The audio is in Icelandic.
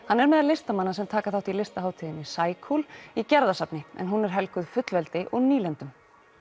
hann er meðal listamanna sem taka þátt í listahátíðinni í Gerðarsafni en hún er helguð fullveldi og nýlendum